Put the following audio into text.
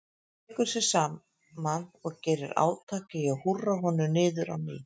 Tekur sig saman og gerir átak í að húrra honum niður á ný.